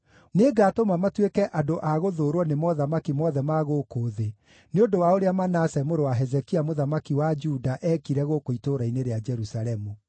Nĩngatũma matuĩke andũ a gũthũũrwo nĩ mothamaki mothe ma gũkũ thĩ, nĩ ũndũ wa ũrĩa Manase mũrũ wa Hezekia mũthamaki wa Juda eekire gũkũ itũũra-inĩ rĩa Jerusalemu.